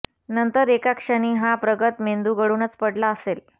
नंतर एका क्षणी हा प्रगत मेंदू गळूनच पडला असेल